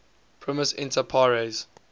primus inter pares